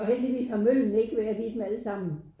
Heldigvis har møllene ikke været i dem alle sammen